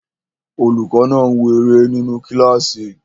Olùkọ́ náà ń wo eré nínu kílásì